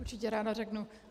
Určitě ráda řeknu.